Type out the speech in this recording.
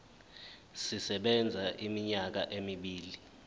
sisebenza iminyaka emibili